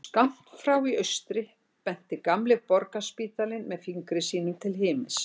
Skammt frá í austri benti gamli Borgarspítalinn með fingri sínum til himins.